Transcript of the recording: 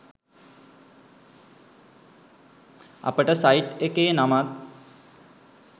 අපට සයිට් එකේ නමත්